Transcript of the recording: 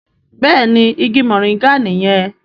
Béèni ìgi Moringa niyen.